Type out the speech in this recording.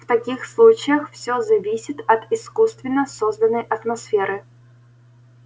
в таких случаях всё зависит от искусственно созданной атмосферы